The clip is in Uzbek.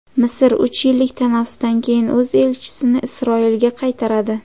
Misr uch yillik tanaffusdan keyin o‘z elchisini Isroilga qaytaradi.